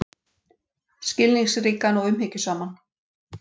Skilningsríkan og umhyggjusaman.